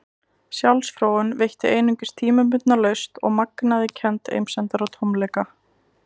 Sjálfsfróun veitti einungis tímabundna lausn og magnaði kennd einsemdar og tómleika.